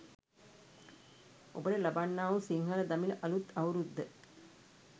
ඔබට ලබන්නා වූ සිංහල දමිළ අළුත් අවුරුද්ද